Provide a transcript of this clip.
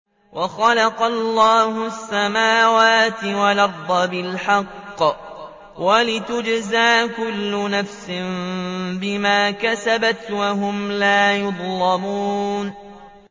وَخَلَقَ اللَّهُ السَّمَاوَاتِ وَالْأَرْضَ بِالْحَقِّ وَلِتُجْزَىٰ كُلُّ نَفْسٍ بِمَا كَسَبَتْ وَهُمْ لَا يُظْلَمُونَ